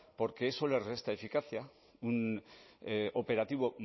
porque eso les resta eficacia un operativo